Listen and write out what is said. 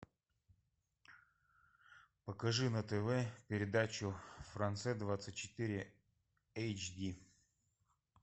покажи на тв передачу франсе двадцать четыре эйч ди